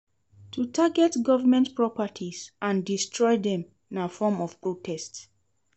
To target government properties and destroy dem na form of protest